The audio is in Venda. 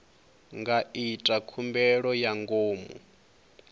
nga ita khumbelo ya ngomu